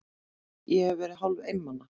Ég hef verið hálfeinmana.